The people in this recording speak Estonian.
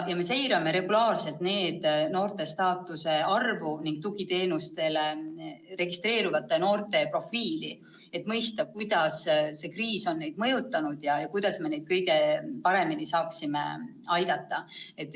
Me seirame regulaarselt NEET-noorte arvu ning tugiteenustele registreerunutd noorte profiili, et mõista, kuidas see kriis on mõjutanud ja kuidas me neid kõige paremini saaksime aidata.